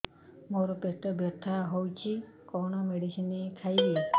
ମୋର ପେଟ ବ୍ୟଥା ହଉଚି କଣ ମେଡିସିନ ଖାଇବି